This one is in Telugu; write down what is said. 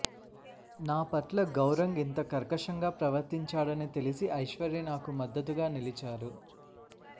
నా పట్ల గౌరంగ్ ఇంత కర్కశంగా ప్రవర్తించాడని తెలిసి ఐశ్వర్య నాకు మద్దతుగా నిలిచారు